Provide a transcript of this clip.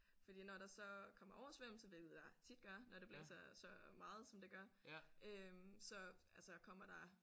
Fordi når der så kommer oversvømmelse hvilket der tit gør når det blæser så meget som det gør øh så altså kommer der